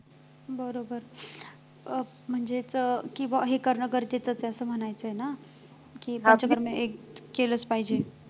बरोबर अं म्हणजेच किंवा हे करणं गरजेचंच आहे असं म्हणायचं आहे ना किंवा केलंच पाहिजे